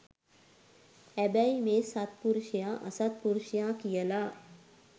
හැබැයි මේ සත්පුරුෂයා අසත්පුරුෂයා කියලා